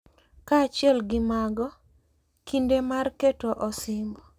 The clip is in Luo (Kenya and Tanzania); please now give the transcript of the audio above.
Kaachiel gi mago, kinde mar keto osimbo,